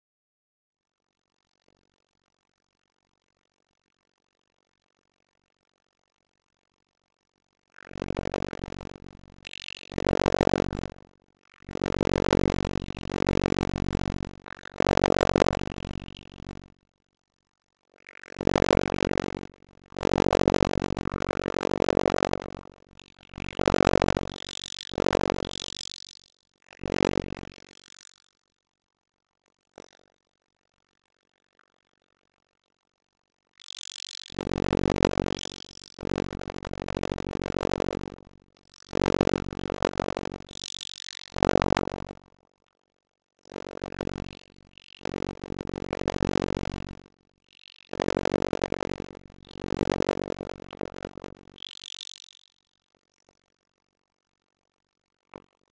En Keflvíkingar eru búnir að pressa stíft síðustu mínútur en samt ekki mikið að gerast.